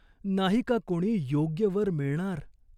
नाही का कोणी योग्य वर मिळणार?